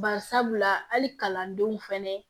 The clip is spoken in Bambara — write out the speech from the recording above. Bari sabula hali kalandenw fɛnɛ